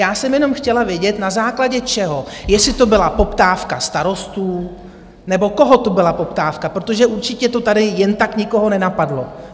Já jsem jenom chtěla vědět, na základě čeho, jestli to byla poptávka starostů nebo koho to byla poptávka, protože určitě to tady jen tak nikoho nenapadlo.